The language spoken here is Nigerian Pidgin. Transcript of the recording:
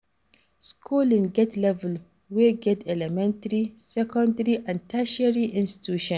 schooling get level we get elementary, secondary and tertiary institution.